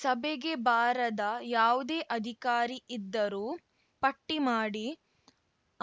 ಸಭೆಗೆ ಬಾರದ ಯಾವುದೇ ಅಧಿಕಾರಿ ಇದ್ದರೂ ಪಟ್ಟಿಮಾಡಿ